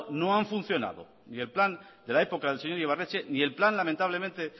no han funcionado ni el plan de la época del señor ibarretxe ni el plan lamentablemente